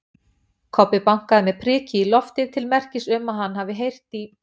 Kobbi bankaði með priki í loftið til merkis um að hann hafi heyrt í